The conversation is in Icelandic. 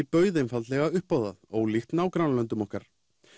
bauð einfaldlega upp á það ólíkt nágrannalöndum okkar